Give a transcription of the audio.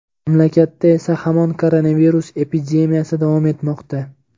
Mamlakatda esa hamon koronavirus epidemiyasi davom etmoqda.